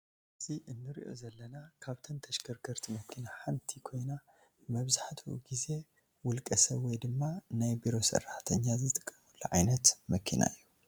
አዚ ንሪአ ዘለና ካብተን ተሽከርከርቲ መኪና ሓንቲ ኮይና መብዛሕቲኡ ግዜ ወልቀ ሰብ ወይ ድማ ናይ ቢሮ ስራሕተኛ ዝጥቀሙሉ ዓይነት መኪና ።